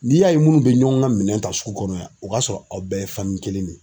N'i y'a ye minnu bɛ ɲɔgɔn ka minɛn ta sugu kɔnɔ yan o k'a sɔrɔ aw bɛɛ ye kelen de ye.